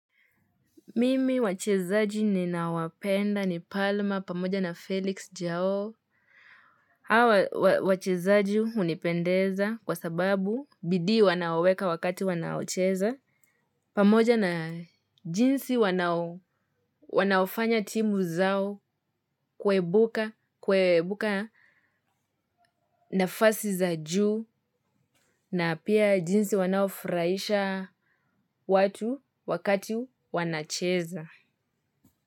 Mimi wachezaji ninao wapenda ni palma pamoja na Felix jao. Hawa wachezaji hunipendeza kwa sababu bidii wanayoweka wakati wanaocheza. Pamoja na jinsi wanaofanya timu zao kuibuka nafasi za juu na pia jinsi wanaofrahisha watu wakati wanacheza.